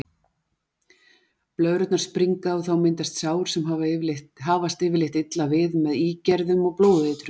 Blöðrurnar springa og þá myndast sár sem hafast yfirleitt illa við með ígerðum og blóðeitrun.